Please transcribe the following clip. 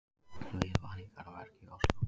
Viðvaningar að verki í Ósló